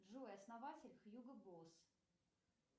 джой основатель хьюго босс